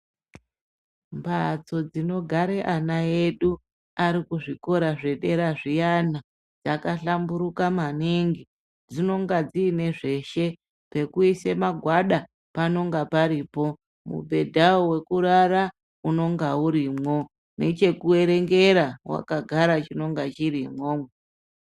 Mbhatso dzinogare ana edu ari kuzvikora zvedera zviyana dzakahlamburuka maningi dzinonga dziine zveshe pekuisa magwada panonga paripo mubhedhawo wekurara unonga urimwo nechekuerengera wakagara chinonga chiromwo.